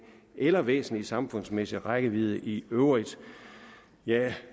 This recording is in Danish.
eller væsentlig samfundsmæssig rækkevidde i øvrigt jeg